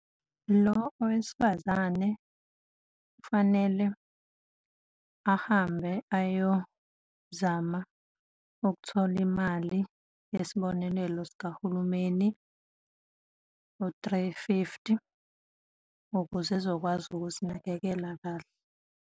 Lo owesifazane kufanele ahambe ayozama ukuthola imali yesibonelelo sikahulumeni, u-three fifty, ukuze ezokwazi ukuzinakekela kahle.